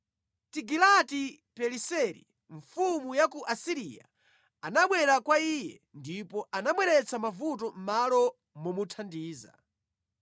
Tigilati-Pileseri mfumu ya ku Asiriya anabwera kwa iye, ndipo anabweretsa mavuto mʼmalo momuthandiza.